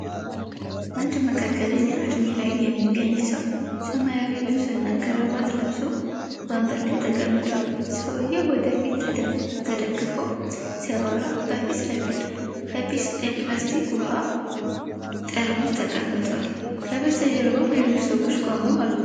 አንድ መካከለኛ እድሜ ላይ የሚገኝ ሰው ሰማያዊ ልብስና ከረባት ለብሶ ወንበር ላይ ተቀምጧል። ሰውዬው ወደ ፊት ተደግፎ ሲያወራ፣ በፊት ለፊቱ የፕላስቲክ ውሃ ጠርሙስ ተቀምጧል። ከበስተጀርባ ሌሎች ሰዎች ቆመው አሉ።